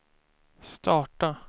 starta